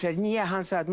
Niyə hansı at?